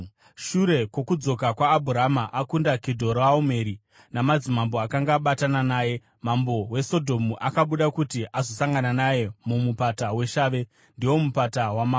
Shure kwokudzoka kwaAbhurama akunda Kedhoraomeri namadzimambo akanga abatana naye, mambo weSodhomu akabuda kuti azosangana naye muMupata weShavhe (ndiwo Mupata waMambo).